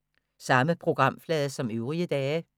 Samme programflade som øvrige dage